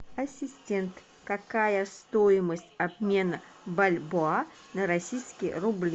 ассистент какая стоимость обмена бальбоа на российские рубли